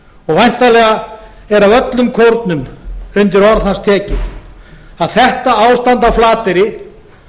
væntanlega er af öllum kórnum undir orð hans tekið að þetta ástand á flateyri